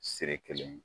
Siri kelen